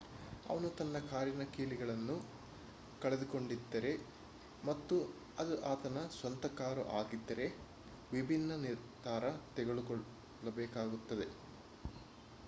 ಅವನು ತನ್ನ ಕಾರಿನ ಕೀಲಿಗಳನ್ನು ಕಳೆದುಕೊಂಡಿದ್ದರೆ ಮತ್ತು ಅದು ಆತನ ಸ್ವಂತ ಕಾರು ಆಗಿದ್ದರೆ ವಿಭಿನ್ನ ನಿರ್ಧಾರ ತೆಗೆದುಕೊಳ್ಳಬೇಕಾಗುತ್ತದೆ